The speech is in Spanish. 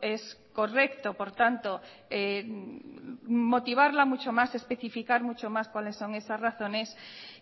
es correcto por tanto motivarla mucho más especificar mucho más cuáles son esas razones